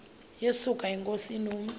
yesuka inkosi inomntu